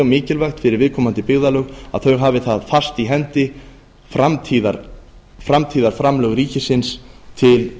mikilvægt fyrir viðkomandi byggðarlög að þau hafi fast í hendi framtíðarframlög ríkisins til